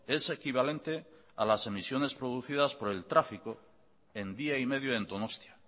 es equivalente a las emisiones producidas por el tráfico en día y medio en donostia